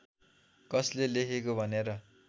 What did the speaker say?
कसले लेखेको भनेर